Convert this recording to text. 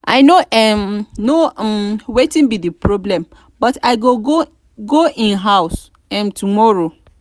i no um know um wetin be the problem but i go go im house um tomorrow